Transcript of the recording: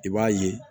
I b'a ye